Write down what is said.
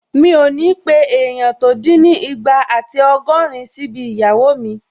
Mi ò ní pé èèyàn tó dín ní ìgbà àti ọgọ́rin síbi ìgbéyàwó mi